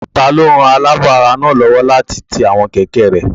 Taló ran alaabo ara náà lówó láti ti àwọn kẹ̀kẹ́ rẹ?